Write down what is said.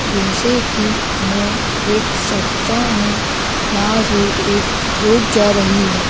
जैसे की मैं देख सकता हूं यहां से एक रोड जा रही है।